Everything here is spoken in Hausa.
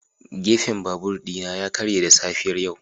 Gefen babur ɗina ya karye da safiyar yau.